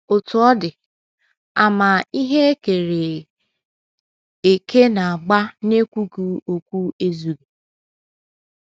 Otú ọ dị, àmà ihe e kere eke na - agba n’ekwughị okwu ezughị.